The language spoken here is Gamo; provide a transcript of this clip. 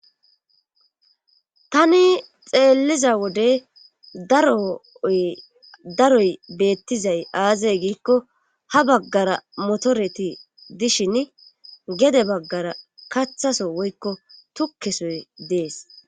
Tani xeelliza wode daro ee daroy beettizay aaze giiko ha baggara motoreti dishini gede baggara kathaso woykko tukke sohe de7ees.